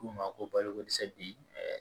K'u ma ko baloko dɛsɛ bi